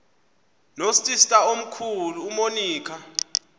nosister omkhulu umonica